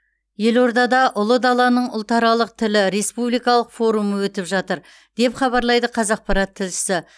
елордада ұлы даланың ұлтаралық тілі республикалық форумы өтіп жатыр деп хабарлайды қазақпарат тілшісі